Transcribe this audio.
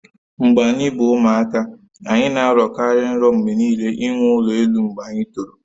Mgbe anyi bu ụmụaka, anyị na-arọ kari nrọ mgbe niile inwe ụlọ elụ mgbe anyị toro